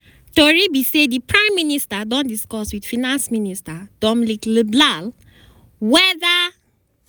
tori be say di prime minister don discuss wit finance minister dominic leblanc weda